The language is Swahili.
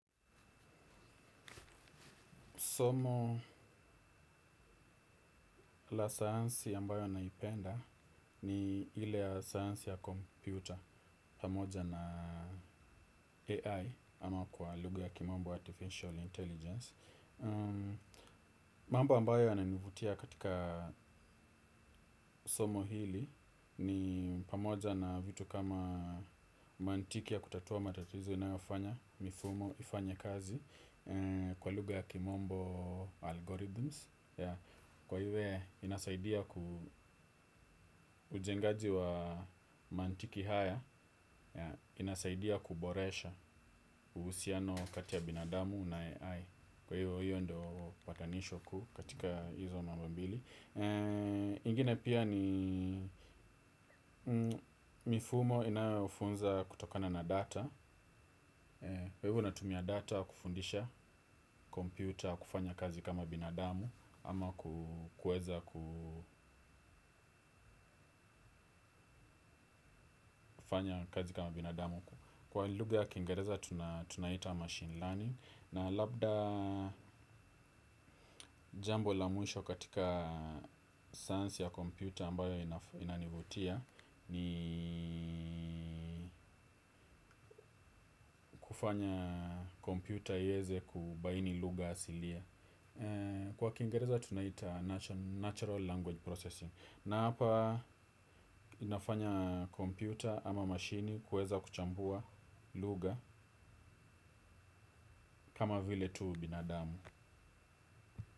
Somo la sayansi ambayo naipenda ni ile sayansi ya kompyuta pamoja na AI ama kwa lugha ya kimombo Artificial Intelligence. Mambo ambayo yananivutia katika somo hili ni pamoja na vitu kama mantiki ya kutatua matatizo inayofanya mifumo ifanye kazi kwa lugha ya kimombo Algorithms. Kwa hivyo inasaidia ku ujengaji wa mantiki haya. Inasaidia kuboresha uhusiano kati ya binadamu na AI. Kwa hivyo hiyo ndio patanisho kuu katika hizo mambo mbili. Ingine pia ni mifumo inayofunza kutokana na data. Kwa hivyo natumia data kufundisha computer kufanya kazi kama binadamu. Ama kuweza kufanya kazi kama binadamu. Kwa lugha ya kiingereza tunaita machine learning. Na labda jambo la mwisho katika science ya computer ambayo inanivutia. Ni kufanya computer iweze kubaini lugha asili. Kwa kiingereza tunaita natural language processing. Na hapa inafanya kompyuta ama mashine kuweza kuchambua lugha kama vile tu binadamu.